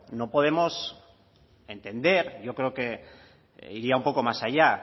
no podemos entender yo creo que iría un poco más allá